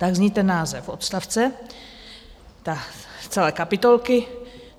Tak zní ten název odstavce, tak celé kapitolky.